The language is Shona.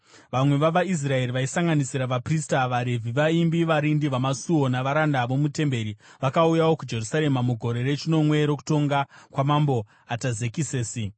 Vamwe vavaIsraeri, vaisanganisira vaprista, vaRevhi, vaimbi, varindi vamasuo navaranda vomutemberi, vakauyawo kuJerusarema mugore rechinomwe rokutonga kwaMambo Atazekisesi.